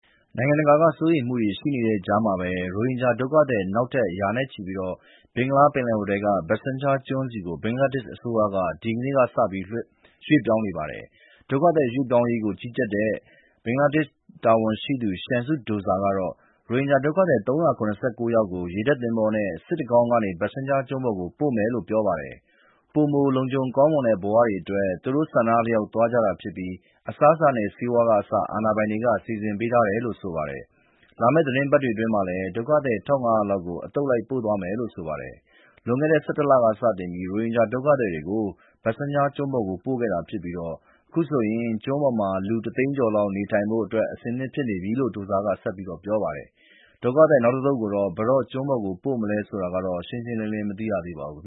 နိုင်ငံတကာက စိုးရိမ်မှုတွေရှိနေတဲ့ကြားမှာပဲ ရိုဟင်ဂျာဒုက္ခသည် နောက်ထပ် ရာနဲ့ချီပြီး ဘင်္ဂလားပင်လယ်အော်ထဲက Bhashan Char ကျွန်းဆီ ဘင်္ဂလားဒေ့ရှ်အစိုးရက ဒီကနေ့ စပြီး ရွှေ့ပြောင်းနေပါတယ်။ ဒုက္ခသည်ပြောင်းရွှေ့ရေးကို ကြီးကြပ်တဲ့ ဘင်္ဂလားဒေ့ရှ်တာဝန်ရှိသူ Shamsud Douza က ရိုဟင်ဂျာဒုက္ခသည် ၃၇၉ ယောက်ကို ရေတပ်သင်္ဘောနဲ့ စစ်တကောင်းကနေ Bhasan Char ကျွန်းပေါ် ပို့မယ်လို့ပြောပါတယ်။ ပိုမိုလုံခြုံကောင်းမွန်တဲ့ ဘဝတွေအတွက် သူတို့ဆန္ဒအလျောက် သွားကြတာဖြစ်ပြီး အစားအစာနဲ့ ဆေးဝါးကအစ အာဏာပိုင်တွေက စီစဉ်ပေးထားတယ်လို့ဆိုပါတယ်။ လာမယ့်သီတင်းပတ်တွေအတွင်းမှာလည်း ဒုက္ခသည် ၁,၅၀၀ လောက် အသုတ်လိုက် ပို့သွားမယ်လို ဆိုပါတယ်။ လွန်ခဲ့တဲ့ ၁၁ လက စတင်ပြီး ရိုဟင်ဂျာဒုက္ခသည်တွေကို Bhasan Char ကျွန်းပေါ် ပို့ခဲ့တာဖြစ်ပြီး အခုဆိုရင် ကျွန်းပေါ်မှာ လူ တသိန်းကျော်လောက် နေထိုင်ဖို့ အဆင်သင့်ဖြစ်နေပြီလို့ Douza က ပြောပါတယ်။ ဒုက္ခသည် နောက်အသုတ်ကို ဘယ်တော့ ကျွန်းပေါ်ပို့မယ်ဆိုတာကတော့ ရှင်းရှင်းလင်းလင်း မသိရသေးပါဘူး